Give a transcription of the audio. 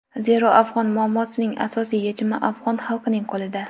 Zero, afg‘on muammosining asosiy yechimi afg‘on xalqining qo‘lida.